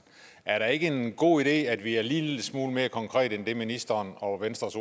er det ikke en god idé at vi er en lille smule mere konkrete end det ministeren og venstres